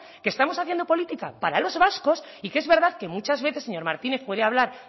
que estamos haciendo política para los vascos y que es verdad que muchas veces señor martínez puede hablar